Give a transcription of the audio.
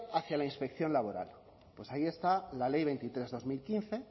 hacia la inspección laboral pues ahí está la ley veintitrés barra dos mil quince